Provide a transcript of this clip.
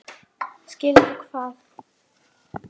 Skilur hvað?